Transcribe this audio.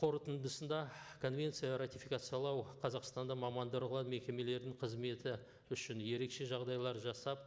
қорытындысында конвенция ратификациялау қазақстанда мамандырылған мекемелердің қызметі үшін ерекше жағдайлар жасап